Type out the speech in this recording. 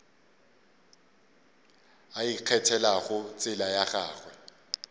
a ikgethelago tsela ya gagwe